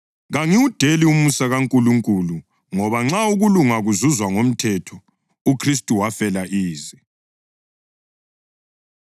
Kangiwudeli umusa kaNkulunkulu ngoba nxa ukulunga kuzuzwa ngomthetho, uKhristu wafela ize.”